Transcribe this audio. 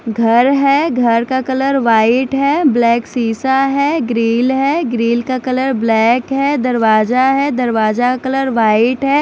घर है घर का कलर वाइट है ब्लैक सीसा है ग्रील है ग्रील का कलर ब्लैक है दरवाजा है दरवाजा का कलर वाइट है।